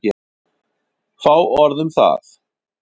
Fá orð um það.